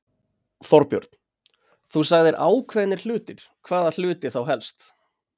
Þorbjörn: Þú sagðir ákveðnir hlutir, hvaða hluti þá helst?